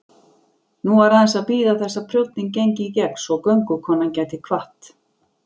Nú var aðeins að bíða þess að prjónninn gengi í gegn svo göngukonan gæti kvatt.